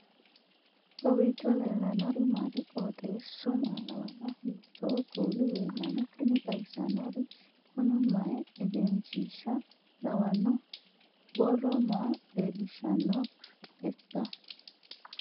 kowiicho leellannori maati ? qooxeessu maa lawaanno ? hiitoo kuuli leellanno ? tini xawissannori kuni mayi egenishshiisha lawanno borro maa leelishshannoteikka